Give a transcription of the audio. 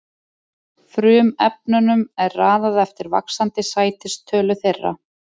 Frumefnunum er raðað eftir vaxandi sætistölu þeirra.